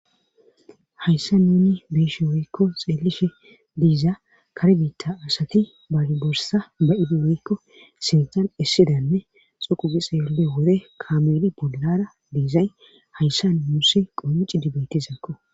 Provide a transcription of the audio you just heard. Hayssa nuni biishe woykko xeelishe diiza karbiitta asati baagi borsa ba'idiweykko sintan issidanne xoqugi xeele wore kameli bolara diizay hayssa muusi qommici dibetizakko.